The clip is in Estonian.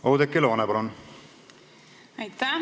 Oudekki Loone, palun!